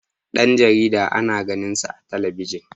Dan jarida ana ganinsa a talabiji